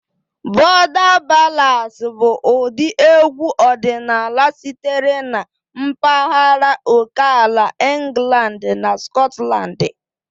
Border ballads bụ ụdị egwu ọdịnala sitere na mpaghara oke ala England na Scotland.